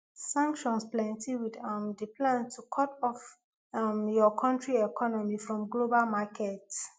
sanctions plenty wit um di plan to cut off um your country economy from global markets